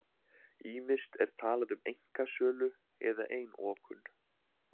Ýmist er talað um einkasölu eða einokun.